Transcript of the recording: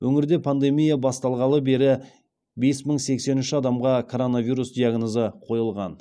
өңірде пандемия басталғалы бері бес мың сексен үш адамға коронавирус диагнозы қойылған